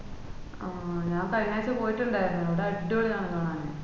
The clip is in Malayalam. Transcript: ആഹ് ഞാൻ കഴിഞ്ഞ ആഴ്ച പോയിട്ട്ണ്ടാർന്ന് അവിടെ അഡ്വളി ആണ് കാണാന്